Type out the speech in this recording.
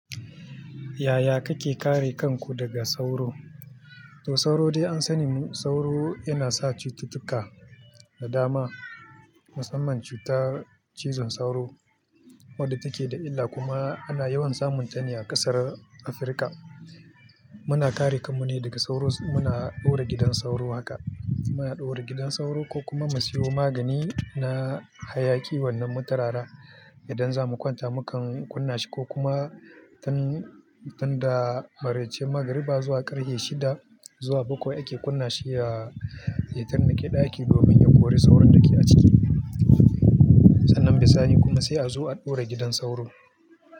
Yaya kake kare kanku daga sauro? To sauro dai an sani sauro yana sa cututtuka da dama, musamman cutar cizon sauro wadda take da illa kuma ana yawan samun ta ne a ƙasar Afirka. Muna kare kanmu ne daga sauro muna ɗaura gidan sauro haka. Muna ɗora gidan sauro ko kuma mu siyo magani na hayaki wannan mu turara idan za mu kwanta mukan kunna shi ko kuma tun, tun da maraice magriba zuwa ƙarfe shida zuwa bakwai ake kunna shi ya, ya turnake ɗaki domin ya kori sauron da ke a ciki. Sannan bisani kuma sai a zo a ɗaura gidan sauro.